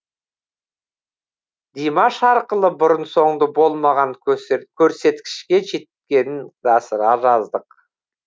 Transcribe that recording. димаш арқылы бұрын соңды болмаған көрсеткішке жеткенін жасыра жаздық